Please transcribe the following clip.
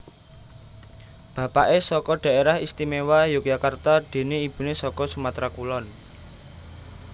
Bapaké saka Dhaerah Istimewa Yogyakarta déné ibuné saka Sumatra Kulon